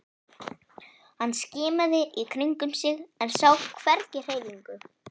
Hann skimaði í kringum sig en sá hvergi hreyfingu.